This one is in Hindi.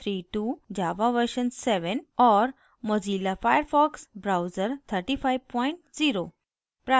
java version 7 और mozilla firefox browser 350